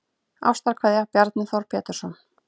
Ástarkveðja Bjarni Þór Pétursson